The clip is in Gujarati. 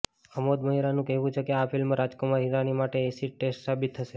અમોદ મહેરાનું કહેવું છે કે આ ફિલ્મ રાજકુમાર હિરાની માટે એસિડ ટેસ્ટ સાબિત થશે